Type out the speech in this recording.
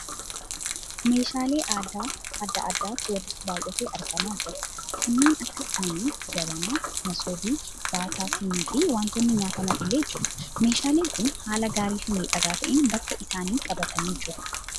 Meeshaalee aadaa adda adaatu walitti baayyatee argamaa jira. Kanneen akka sinii, jabanaa, masoobii, baataa sinii fi wantoonni nyaataman illee jiru. Meeshaaleen kun haala gaarii fi miidhagaa ta'ee bakka isaanii qabatanii jiru.